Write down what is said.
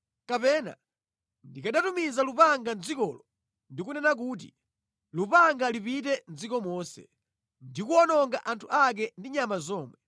“Kapena ndikanatumiza lupanga mʼdzikolo ndi kunena kuti, ‘Lupanga lipite mʼdziko monse,’ ndi kuwononga anthu ake ndi nyama zomwe.